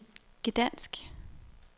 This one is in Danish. Gdansk